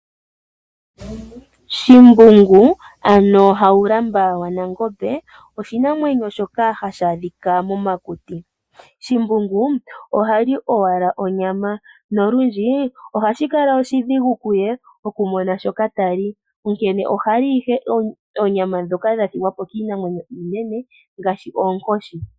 Shimbungu, ano Haulamba wa Nangombe oshinamwenyo shoka hashi adhika momakuti. Shimbungu ohali owala onyama, nolundji ohashi kala oshidhigu kuye okumona shoka tali, onkene ohali ike oonyama ndhoka dha thigwa po kiinamwenyo iinene, ngaashi oonkoshi.